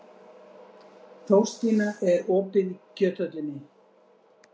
Þórstína, er opið í Kjöthöllinni?